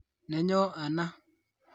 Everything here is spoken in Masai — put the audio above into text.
Nenyo ana